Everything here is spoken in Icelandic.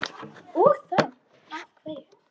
Og þá af hverju?